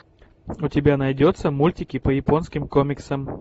у тебя найдется мультики по японским комиксам